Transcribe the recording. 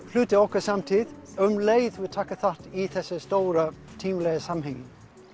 hluti af okkar samtíð um leið og við tökum þátt í þessu stóra tímalega samhengi